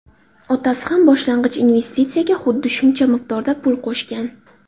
Otasi ham boshlang‘ich investitsiyaga xuddi shuncha miqdorda pul qo‘shgan.